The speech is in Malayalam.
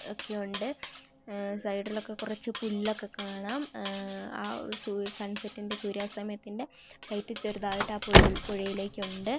ഒക്കെ ഉണ്ട് ഉം സൈഡിലോക്കെ കുറച്ചു പുല്ലൊക്കെ കാണാം ഉം ആ സൂ-സൺസെറ്റിന്റെ സൂര്യാസ്തമയത്തിന്റെ ലൈറ്റ് ചെറുതായിട്ട് ആ പുഴകളിൽ പുഴയിലേക്ക് ഇണ്ട് .